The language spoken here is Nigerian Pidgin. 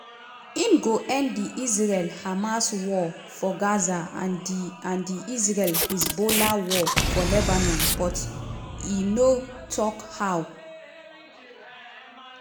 im go end di israel-hamas war for gaza and di and di israel-hezbollah war for lebanon but e no tok how.